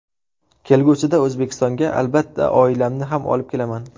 Kelgusida O‘zbekistonga, albatta, oilamni ham olib kelaman.